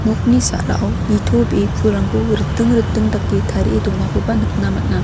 nokni sarao nitobee pulrangko riting riting dake tarie donakoba nikna man·a.